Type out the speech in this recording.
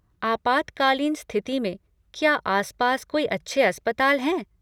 आपातकालीन स्थिति में क्या आसपास कोई अच्छे अस्पताल हैं?